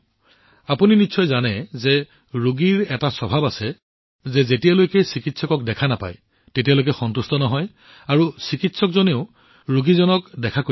প্ৰধানমন্ত্ৰীঃ আচ্ছা মদন মণিজী আপুনি জানে যে ৰোগীৰ এটা প্ৰৱণতা আছে যে চিকিৎসক অহালৈকে চিকিৎসকে তেওঁক নোচোৱালৈকে তেওঁ সন্তুষ্ট নহয় আৰু চিকিৎসকেও অনুভৱ কৰে যে তেওঁ ৰোগীক চাব লাগিব